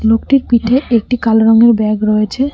লোকটির পিঠে একটি কালো রঙের ব্যাগ রয়েছে